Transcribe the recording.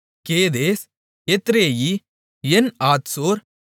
கேதேஸ் எத்ரேயி என்ஆத்சோர்